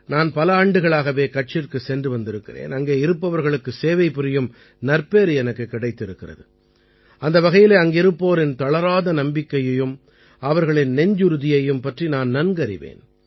நான் பல ஆண்டுகளாகவே கட்சிற்குச் சென்று வந்திருக்கிறேன் அங்கே இருப்பவர்களுக்குச் சேவைபுரியும் நற்பேறு எனக்குக் கிடைத்திருக்கிறது அந்த வகையிலே அங்கிருப்போரின் தளராத நம்பிக்கையையும் அவர்களின் நெஞ்சுறுதியையும் பற்றி நான் நன்கறிவேன்